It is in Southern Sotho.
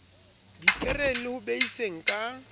dipereng le ho beiseng ka